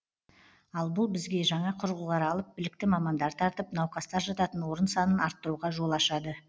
ал бұл бізге жаңа құрылғылар алып білікті мамандар тартып науқастар жататын орын санын арттыруға жол ашады